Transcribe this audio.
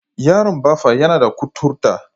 Yaron Baffa yana da kuturta.